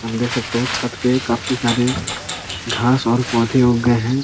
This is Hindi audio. हम देख सकते है छत पे काफी सारे घास और पौधे उग गए है।